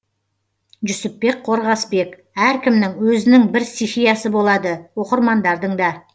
жүсіпбек қорғасбек әркімнің өзінің бір стихиясы болады оқырмандардың да